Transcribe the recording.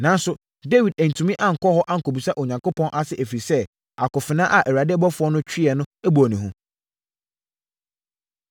Nanso, Dawid antumi ankɔ hɔ ankɔbisa Onyankopɔn ase, ɛfiri sɛ, akofena a Awurade ɔbɔfoɔ no tweeɛ no bɔɔ no hu.